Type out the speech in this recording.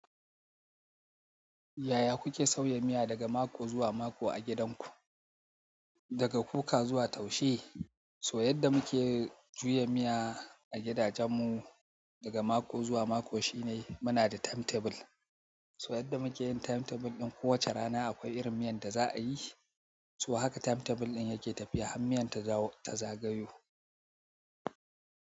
Yaya kuke sauya miya daga mako zuwa mako a gidanku? Daga kuka zuwa taushe, so yadda muke juya miya a gidajenmu daga mako zuwa mako shine muna da timetable. Toh yadda muke yin timtable ɗin ko wacce rana akwai irin miyar da za a yi toh haka time table ɗin ya ke tafiya har miyar ta zagayo.